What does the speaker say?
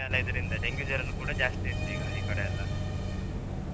ಎಲ್ಲ ಇದ್ರಿಂದ dengue ಜ್ವರನು ಜಾಸ್ತಿ ಇತ್ತು ಈಗ ಈಕಡೆ ಎಲ್ಲ